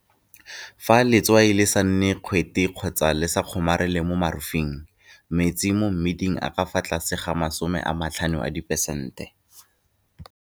Fa letswai le sa nne kgwete kgotsa le sa kgomarele ka mo morufeng, metsi mo mmiding a ka fa tlase ga 15 diperesente.